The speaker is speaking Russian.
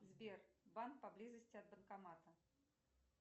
сбер банк поблизости от банкомата